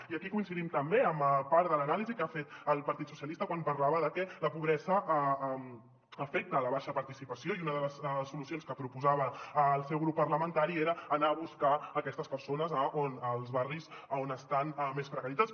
i aquí coincidim també amb part de l’anàlisi que ha fet el partit socialistes quan parlava de que la pobresa afecta la baixa participació i una de les solucions que proposava el seu grup parlamentari era anar a buscar aquestes persones als barris que estan més precaritzats